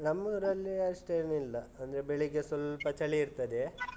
ನಮ್ಮೂರಲ್ಲಿ ಅಷ್ಟೇನಿಲ್ಲ. ಅಂದ್ರೆ ಬೆಳಿಗ್ಗೆ ಸ್ವಲ್ಪ ಚಳಿ ಇರ್ತದೆ.